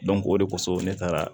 o de kosɔn ne taara